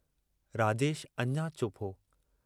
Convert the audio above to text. राजेश अञ चुप हो।